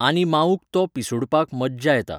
आनी माऊक तो पिसूडपाक मज्जा येता.